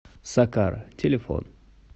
сакара телефон